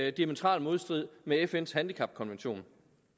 i diametral modstrid med fns handicapkonvention